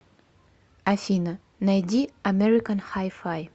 афина найди американ хай фай